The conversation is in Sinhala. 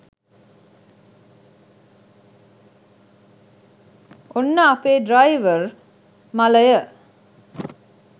ඔන්න අපේ ඩ්‍රයිවර් මලය